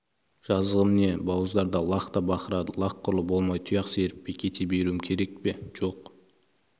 жазығым не бауыздарда лақ та бақырады лақ құрлы болмай тұяқ серіппей кете беру керек пе жоқ